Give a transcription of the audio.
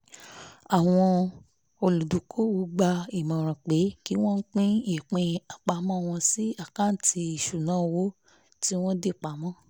àwọn olùdókòwò ń gba ìmọ̀ràn pé kí wọ́n pín ìpín àpamọ́ wọn sí àkáǹtì ìṣúnná owó tí wọ́n dì pa mọ́